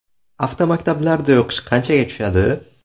Avtomaktablarda o‘qish qanchaga tushadi?.